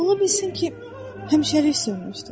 Ola bilsin ki, həmişəlik sönmüşdür.